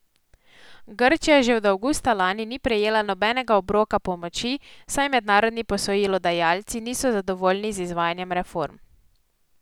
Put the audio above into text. Grčija že od avgusta lani ni prejela nobenega obroka pomoči, saj mednarodni posojilodajalci niso zadovoljni z izvajanjem reform.